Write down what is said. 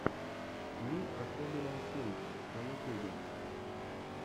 мир особенного симки на ютубе